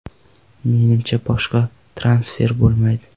Menimcha, boshqa transfer bo‘lmaydi.